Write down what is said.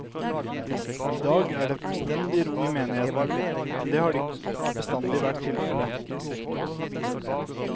I dag er det fullstendig ro i menigheten, men det har ikke bestandig vært tilfelle.